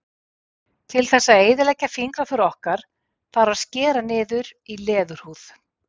til þess að eyðileggja fingraför okkar þarf að skera niður í leðurhúð